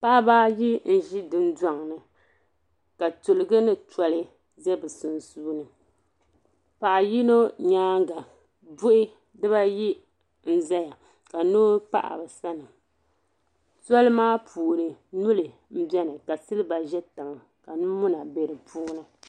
Paɣiba ayi n-ʒi dundɔŋ ni ka tiliga ni toli za bɛ sunsuuni. Paɣ' yino nyaaŋga buhi bibaayi n-zaya ka pahi bɛ sani. Doli maa puuni nyuli m-beni ka siliba za tiŋa ka nyu' muna be di puuni.